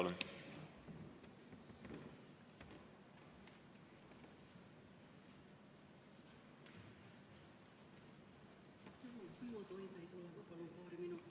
Merry Aart, palun!